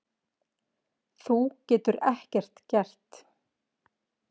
Þú getur ekkert gert.